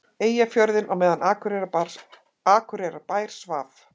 Eyjafjörðinn á meðan Akureyrarbær svaf.